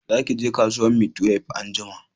Za ki je kasuwan maitwef anjima